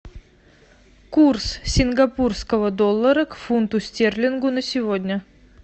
курс сингапурского доллара к фунту стерлингов на сегодня